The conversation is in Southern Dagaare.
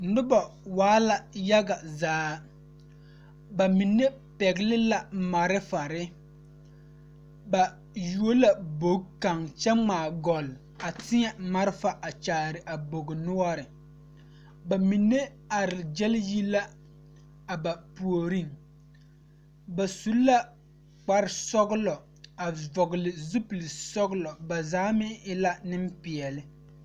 Noba waa la yage zaa ba mine pɛgle la marifare ba yuo la bogi kaŋ kyɛ ŋmaa gɔl a teɛ marifa a tɔgle a bogi noɔri ba are gyɛl yi la a ba puoriŋ ba su la kpare sɔglɔ a vɔgle zupile sɔglɔ ba zaa meŋ e la nimpeɛle.